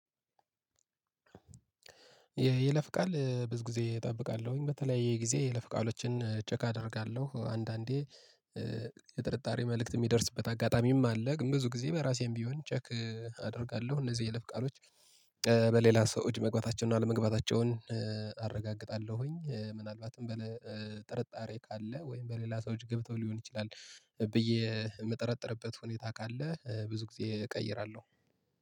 ይለፍ ቃል ብዙ ጊዜ እጠብቃለሁኝ በተለያየ ጊዜ የይለፍ ቃሎችን ቼክ አደርጋለሁ አንዳንዴ። የጥርጣሬ መልእክት የሚደርስበት አጋጣሚም አለ ግን ብዙ ጊዜ በራሴም ቢሆን ቼክ አደርጋለሁ። እነዚህ የይለፍ ቃሎች በሌላ ሰው እጅ መግባታቸውን አለመግባታቸውን አረጋግጣለሁኝ። ምናልባትም በጥርጣሬ ካለ ወይም በሌላ ሰዎች ገብተው ሊሆን ይችላል። ብዬ የምጠረጥርበት ሁኔታ ካለ ብዙ ጊዜ እቀይራለሁ